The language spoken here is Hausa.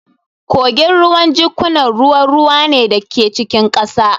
Kogin ruwa jikkunan ruwan ruwa ne da ke cikin ƙasa